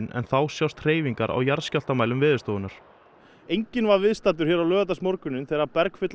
en þá sjást hreyfingar á jarðskjálftamælum Veðurstofunnar enginn var viðstaddur hér á laugardagsmorguninn þegar